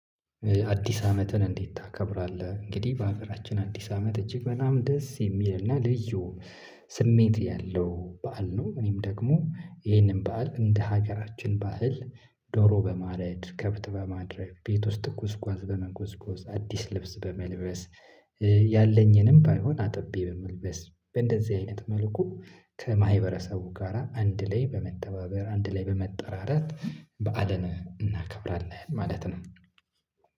አዲስ አመትን እንዴት ታከብራለህ? እንግዲህ በሀገራችን አዲስ አመት እጅግ በጣም ደስ የሚልና ልዩ ስሜት ያለው በዓል ነው። እኔም ደግሞ ይሄንን በዓል እንደ ሀገራችን ባህል ዶሮ በማረድ ከብት በማድረግ ቤት ውስጥ ጉዝጓዝ በመጎዝጎዝ አዲስ ልብስ በመልበስ። ያለኝንም ባይሆን አጥቢ በመልበስ በእንደዚህ አይነት መልኩ ከማህበረሰቡ ጋራ አንድ ላይ በመተባበር አንድ ላይ በመጠራረት በዓልን እናከብራለን ማለት ነው።